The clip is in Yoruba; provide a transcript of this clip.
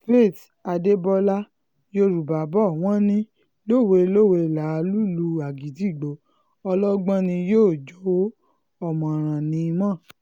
faith adébọlá yorùbá bò wọ́n ní lówe-lowe láá lùlù agídígbò ọlọgbọ́n ní í jó o ọ̀mọ̀ràn ní í mọ̀ ọ́n